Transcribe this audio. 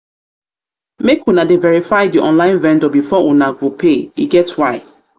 make una dey verify di online vendor before una go pay e get why.